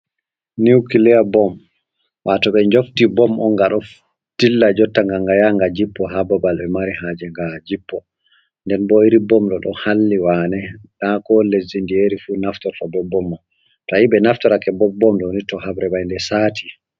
Niukiliya bom, wato ɓe njofti bom on ga ɗo ɗilla jotta nga yà gà jippo ha babal be mari haje ngaa jippo. Nden bo iri bom doh ɗo halli wane, na ko lesdi ndiyeri fu naftorto ɓe iri bom man to ayi ɓe naftorake ɓe bom ɗoni to habre man saati.